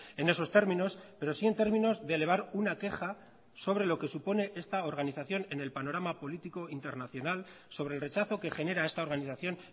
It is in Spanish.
en esos términos pero sí en términos de elevar una queja sobre lo que supone esta organización en el panorama político internacional sobre el rechazo que genera esta organización